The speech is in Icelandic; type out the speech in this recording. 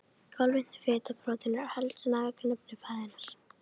Kolvetni, fita og prótín eru helstu næringarefni fæðunnar.